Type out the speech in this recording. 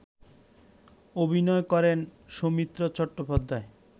অভিনয় করেন সৌমিত্র চট্টোপাধ্যায়